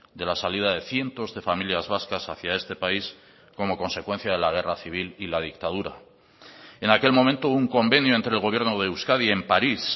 de la salida de cientos de familias vascas hacía este país como consecuencia de la guerra civil y la dictadura en aquel momento un convenio entre el gobierno de euskadi en paris